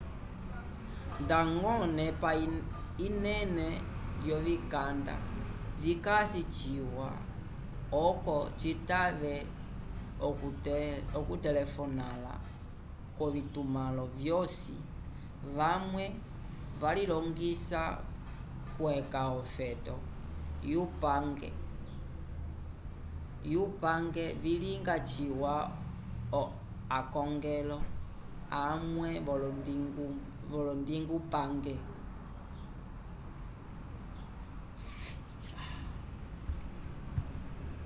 ndañgo onepa inene yovikanda vikasi ciwa oco citave okutelefonala k'ovitumãlo vyosi vamwe valilongisa k'okweca ofeto yupange vilinga ciwa akongelo amwe vyolondingupange